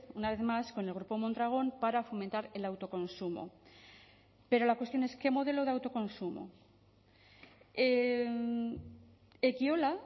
una vez más con el grupo mondragon para fomentar el autoconsumo pero la cuestión es qué modelo de autoconsumo ekiola